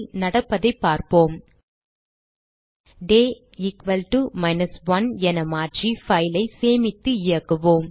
நடப்பதைப் பார்ப்போம் 000446 00416052 டே equal to 1 என மாற்றி file ஐ சேமித்து இயக்குவோம்